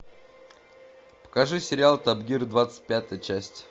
покажи сериал топ гир двадцать пятая часть